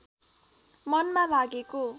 मनमा लागेको